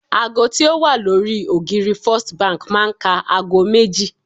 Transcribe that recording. ago ti o wa lori ògiri first Bank ma n ká agọ méjì